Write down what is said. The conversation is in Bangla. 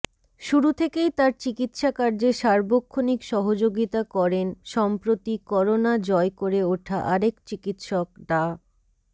শুরু থেকেই তার চিকিৎসাকার্যে সার্বক্ষণিক সহযোগিতা করেন সম্প্রতি করোনা জয় করে উঠা আরেক চিকিৎসক ডা